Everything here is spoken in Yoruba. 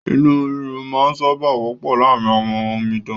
Inú rírun máa ń sábà wọ́pọ̀ láàrín àwọn omidan